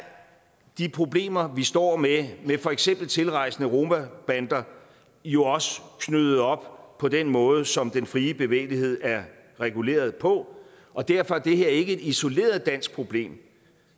de problemer vi står med med for eksempel tilrejsende romabander jo også knyttet op på den måde som den frie bevægelighed er reguleret på og derfor er det her ikke et isoleret dansk problem